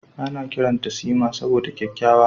Ana kiranta Sima saboda kyakkyawa.